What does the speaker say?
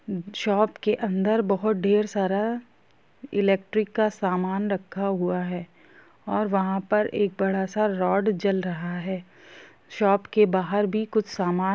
हम्म shop के अन्दर बोहत ढेर सारा इलेक्ट्रीक सामान रखा हुआ है और वहां पर एक बड़ा सा रॉड जल रहा है शॉप के बहार भी कुछ सामान--